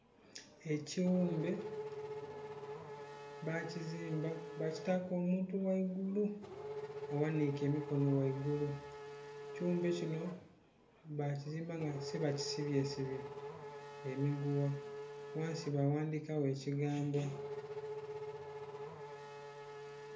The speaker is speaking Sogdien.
Ekighumbe bagizimba bakitaku omuntu ghaigulu aghanike emikono ghaigulu, ekighumbe kinho bakizmba otise balisibye sibye emigugha ghansi ba ghandhikagho ekigambo.